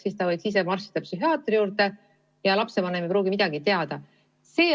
Siis võib ta ise marssida psühhiaatri juurde ja lapsevanem ei pruugi midagi teada.